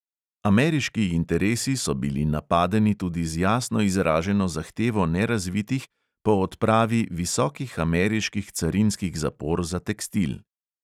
Ameriški interesi so bili "napadeni" tudi z jasno izraženo zahtevo nerazvitih po odpravi visokih ameriških carinskih zapor za tekstil.